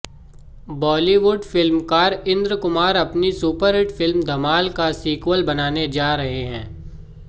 बॉलीवुड फिल्मकार इंद्र कुमार अपनी सुपरहिट फिल्म धमाल का सीक्वल बनाने जा रहे हैं